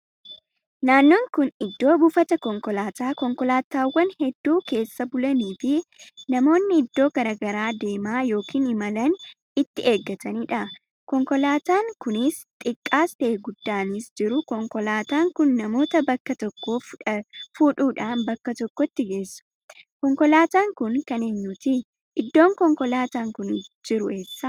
Naannoo kun iddoo buufata konkolaataa konkolaatawwan hedduun keessa bulanii fi namoonni iddoo garaagaraa deemaa ykn imalaan itti eeggataniidha. konkolaataan kunis xiqqaas ta'e guddaanis jiru konkolaataan kun namoota bakka tokkoo fudhuudhaan bakka tokkotti geessu. konkolaataan kun kan eenyuti? Iddoo konkolaataan kun jiru eessa?